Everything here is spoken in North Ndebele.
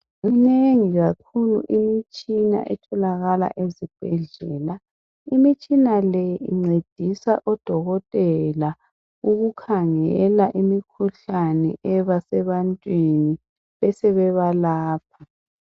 Minengi kakhulu imitshina etholakala ezibhedlela imitshina le oncedisa odokotela ukukhangela imikhuhlane ebasebantwini besebalapha